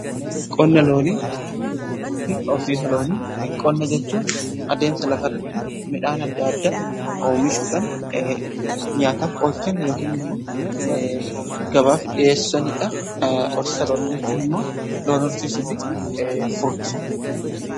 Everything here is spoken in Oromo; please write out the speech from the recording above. Qonna loonii fi horsiisa loonii: qonna jechuun adeemsa lafa irratti midhaan adda addaa oomishuudhaan nyaataaf oolchan yookaan immoo gabaaf dhi'eessanidha. Horsiisa loonii jechuun immoo loon horsiisuu fi furdisuudha.